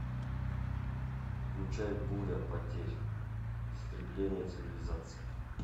включай буря потерь истребление цивилизации